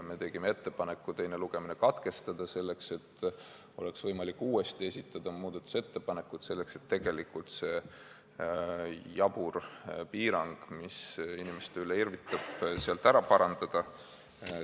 Me tegime ettepaneku teine lugemine katkestada, selleks et oleks võimalik uuesti esitada muudatusettepanekuid, selleks et see jabur piirang, mis inimeste üle irvitab, ära kaotada.